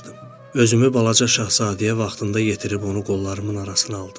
Özümü balaca şahzadəyə vaxtında yetirib onu qollarımın arasına aldım.